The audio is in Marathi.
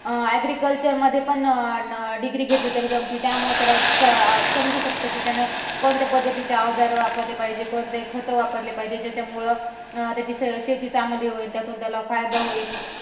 अं agriculture मध्ये पण degree घेतली तर जमती त्यामुळं त्याला समजू शकतं कि त्यानं कोणत्या पद्धतीचे औजार वापरले पाहिजे, कोणते खत वापरले पाहिजे ज्याच्यामुळं त्याची शेती चांगली होईल त्यातून त्याला फायदा होईल.